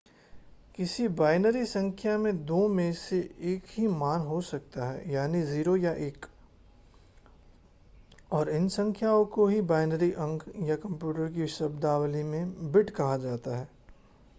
किसी बाइनरी संख्या में दो में से एक ही मान हो सकता है यानी 0 या 1 और इन संख्याओं को ही बाइनरी अंक या कंप्यूटर की शब्दावली में बिट कहा जाता है